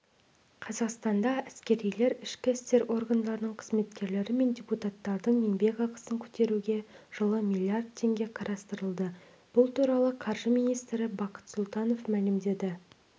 қазақстанда әскерилер ішкі істер органдарының қызметкерлері мен депутаттардың еңбекақысын көтеруге жылы миллиард теңге қарастырылды бұл туралы қаржы министрі бақыт сұлтанов мәлімдеді